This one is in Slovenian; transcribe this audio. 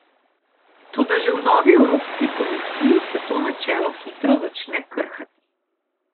Toda že v novi Evropski komisiji se to načelo hitro začne krhati.